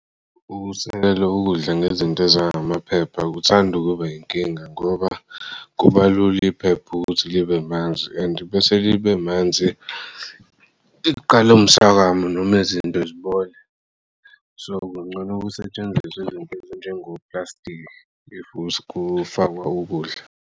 Ukusekel'ukudla ngezinto ezangamaphepha kuthand'ukuba inkinga ngoba kuba lula iphepha ukuthi libe manzi and bese libe manzi liqala umswakamo noma izinto zibole. So kungcono ukusetshenziswa izinto ezinjengo plastiki if kufakwa ukudla.